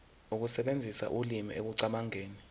ukusebenzisa ulimi ekucabangeni